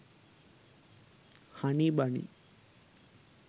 honey bunny